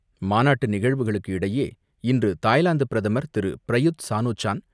மாநாட்டு நிகழ்வுகளுக்கு இடையே இன்று தாய்லாந்து பிரதமர் திரு. Prayut Chan-o-cha